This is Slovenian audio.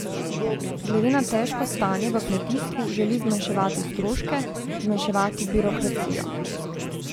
Glede na težko stanje v kmetijstvu želi zmanjševati stroške, zmanjševati birokracijo.